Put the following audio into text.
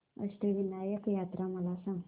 अष्टविनायक यात्रा मला सांग